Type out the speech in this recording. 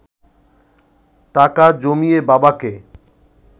টাকা জমিয়ে বাবাকে